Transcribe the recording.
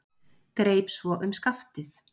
Greip svo um skaftið.